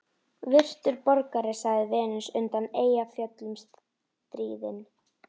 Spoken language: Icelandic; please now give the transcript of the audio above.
Virtur borgari, sagði Venus undan Eyjafjöllum stríðin.